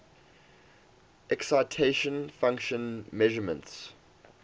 excitation function measurements